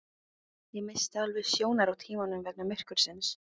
Ég missti alveg sjónar á tímanum vegna myrkursins